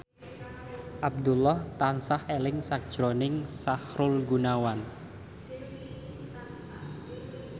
Abdullah tansah eling sakjroning Sahrul Gunawan